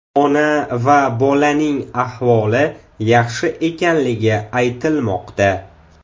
Ona va bolaning ahvoli yaxshi ekanligi aytilmoqda.